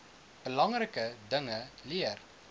belangrike dinge leer